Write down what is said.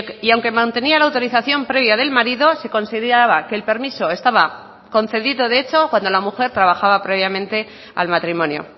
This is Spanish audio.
y aunque mantenía la autorización previa del marido se consideraba que el permiso estaba concedido de hecho cuando la mujer trabajaba previamente al matrimonio